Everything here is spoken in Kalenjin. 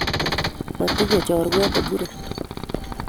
Matinye chorwet ne muren